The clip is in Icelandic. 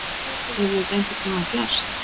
Hefur þetta einhvern tíma gerst?